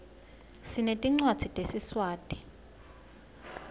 sinetincwadzi tesiswati